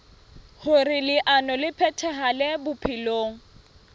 hoer leano le phethahale bophelong